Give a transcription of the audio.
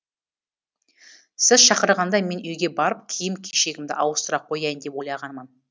сіз шақырғанда мен үйге барып киім кешегімді ауыстыра қояйын деп ойлағанмын